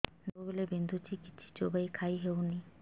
ଦାନ୍ତ ସବୁ ବିନ୍ଧୁଛି କିଛି ଚୋବେଇ ଖାଇ ହଉନି